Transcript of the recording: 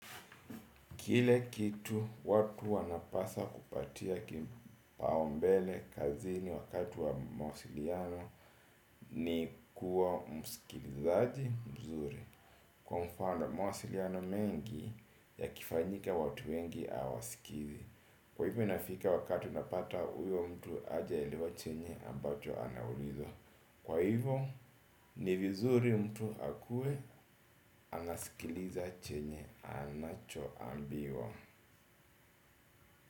Kile kitu watu wanapasa kupatia kipaumbele kazini wakati wa mawasiliano ni kuwa msikilizaji mzuri. Kwa mfano mawasiliano mengi yakifanyika watu wengi hawasikizi. Kwa hivyo inafika wakati unapata huyo mtu hajaelewa chenye ambacho anaulizwa. Kwa hivyo ni vizuri mtu akuwe anasikiliza chenye anachoambiwa.